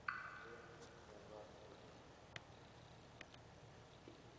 Riix halkan si aad u aragto jaantuska koromosoomyada kow.